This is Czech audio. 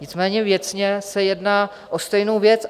Nicméně věcně se jedná o stejnou věc.